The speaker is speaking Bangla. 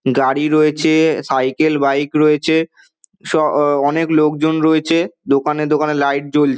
গাড়ি রয়েছে সাইকেল বাইক রয়েছে স অ অনেক লোকজন রয়েছে দোকানে দোকানে লাইট জ্বল--